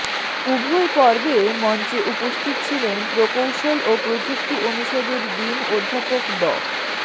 উভয় পর্বে মঞ্চে উপস্থিত ছিলেনপ্রকৌশল ও প্রযুক্তি অনুষদের ডিন অধ্যাপক ড